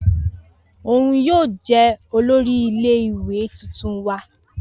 Oun yoo jẹ olori ile-iwe tuntun wa